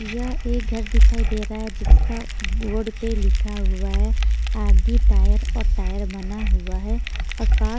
यह एक घर दिखाई दे रहा है जिसका बोर्ड पे लिखा हुआ है आर_डी टायर और टायर बना हुआ है और का--